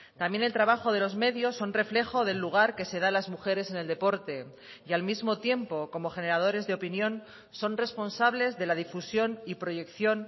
también el trabajo de los medios son reflejo del lugar que se da a las mujeres en el deporte y al mismo tiempo como generadores de opinión son responsables de la difusión y proyección